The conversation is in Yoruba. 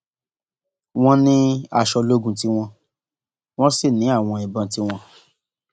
wọn ní aṣọ ológun tiwọn wọn sì ní àwọn ìbọn tiwọn